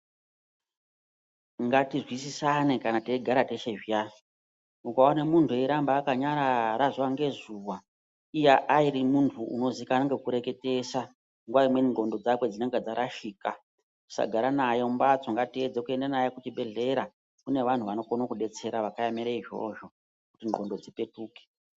Ngatizwisisane kana teyigara teshe zviyani. Ukaone muntu wakanyarara zuwa ngezuwa, iye ari muntu unozikanwa ngekureketesa nguwa imweni ndxondo dzakwe dzinenga dzarashika. Musagara naye mumbatso, ngatiedze kuenda naye kuchibhedhlera. Kune vanhu vanokono kubetsera, vakaemere izvozvo, kuti ndxondo dzipetuke.